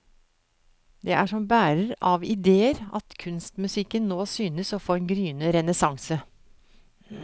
Det er som bærer av idéer at kunstmusikken nå synes å få en gryende renessanse.